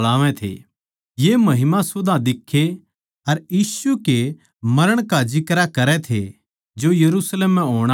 ये महिमा सुधां दिख्खे अर यीशु के मरण का जिक्रा करै थे जो यरुशलेम म्ह होण आळा था